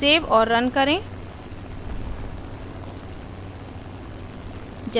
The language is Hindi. सेव और run करें